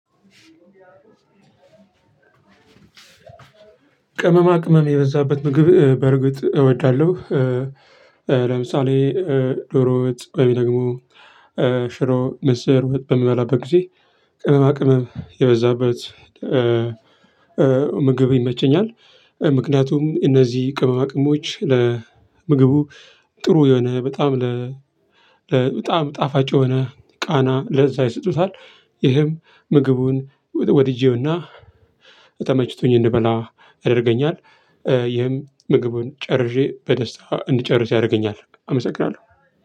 ቅመማ ቅመም የበዛበት ምግብ በርግጥ እወዳለሁ። ለምሳሌ ዶሮ ወጥ፣ ሽሮ፣ ምስር፣ በምበላበት ጊዜ ቅመማ ቅመም የበዛበት ምግብ ይመቸኛል ምክንያቱም እነዚህ ቅመማ ቅሞች ለምግቡ ጥሩ የሆነ በጣም ጣዕም ጣፋጭ ሆነህ ቃና ለዛ ይሰጡታል። ይህም ምግቡን ወድጄውና ተመችቶኝ እንበላ ያደርገኛል። ይህም ምግቡን ጨርሼ በደስታ እንድጨርስ ያደርገኛል። አመሰግናለሁ።